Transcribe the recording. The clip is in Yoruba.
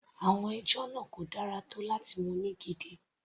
Àwọn ẹjọ́ náà kò dára tó láti mú ní gidi.